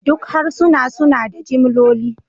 Duk harsuna suna da jimloli